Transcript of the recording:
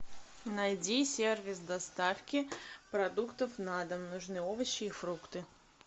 найди сервис доставки продуктов на дом нужны овощи и фрукты